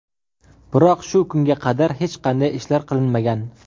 Biroq shu kunga qadar hech qanday ishlar qilinmagan.